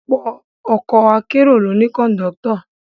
Ọ̀pọ̀ ọkọ̀ akérò ló ní Kọ̀ńdọ́tọ̀